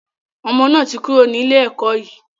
Ọmọ náà ti kúrò ní ilé ẹkọ́ yìí.